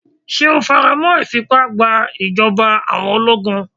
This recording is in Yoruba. Ṣé o faramọ́ ìfìpá gba ìjọba àwọn ológun?